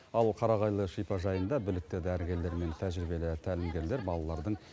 ал қарағайлы шипажайында білікті дәрігерлер мен тәжірибелі тәлімгерлер балалардың